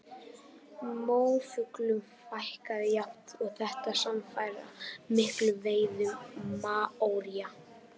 Móafuglum fækkaði jafnt og þétt samfara miklum veiðum maóría.